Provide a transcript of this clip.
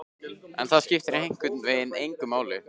En það skipti einhvern veginn engu máli.